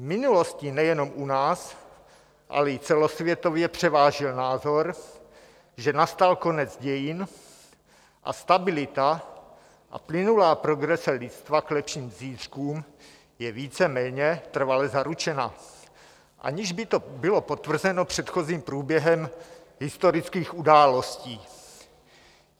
V minulosti nejenom u nás, ale i celosvětově převážil názor, že nastal konec dějin a stabilita a plynulá progrese lidstva k lepším zítřkům je víceméně trvale zaručena, aniž by to bylo potvrzeno předchozím průběhem historických událostí.